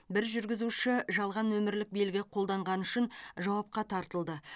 бір жүргізуші жалған нөмірлік белгі қолданғаны үшін жауапқа тартылды